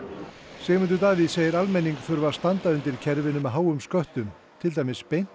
Sigmundur Davíð segir almenning þurfa að standa undir kerfinu með háum sköttum til dæmis beint